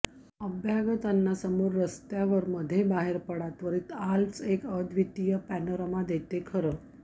अभ्यागतांना समोर रस्त्यावर मध्ये बाहेर पडा त्वरित आल्प्स एक अद्वितीय पॅनोरामा देते खरं